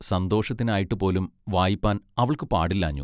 സന്തോഷത്തിനായിട്ട് പോലും വായിപ്പാൻ അവൾക്ക് പാടില്ലാഞ്ഞു.